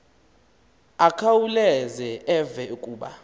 akhawuleze eve kuba